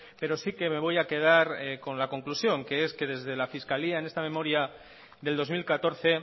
pero sí que me voy a quedar con la conclusión que es que desde la fiscalía en esta memoria del dos mil catorce